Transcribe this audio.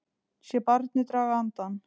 Sé barnið draga andann.